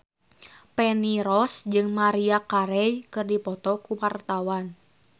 Feni Rose jeung Maria Carey keur dipoto ku wartawan